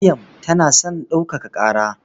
Maryam tana son ɗaukaka ƙara.